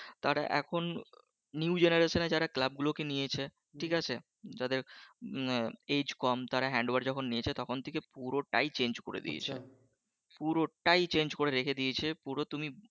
তারা এখন new generation এ যারা club গুলো নিয়েছে ঠিকআছে যাদের উম আগে কম তারা handover যখন থেকে নিয়েছে তখন থেকে পুরোটাই change করে দিয়েছে পুরোটাই চান্যে করে রেখে দিয়েছে পুরো তুমি